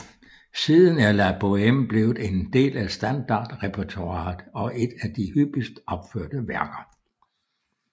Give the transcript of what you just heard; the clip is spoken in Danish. Siden er La Bohème blevet en del af standardrepertoiret og et af de hyppigst opførte værker